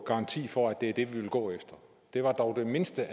garanti for at det er det vi vil gå efter det var dog det mindste